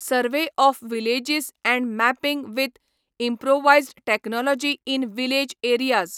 survey of villages and mapping with improvised technology in village areas